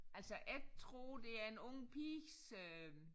Altså jeg tror det er en ung piges øh